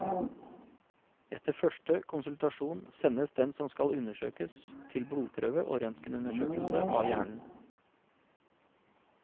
Etter første konsultasjon sendes den som skal undersøkes til blodprøve og røntgenundersøkelse av hjernen.